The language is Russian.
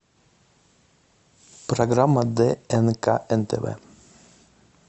программа днк нтв